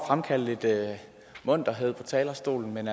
fremkalde lidt munterhed på talerstolen men